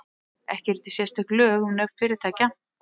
Ekki eru til sérstök lög um nöfn fyrirtækja.